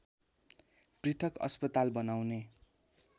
पृथक अस्पताल बनाउने